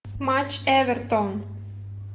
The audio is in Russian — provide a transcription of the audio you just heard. матч эвертон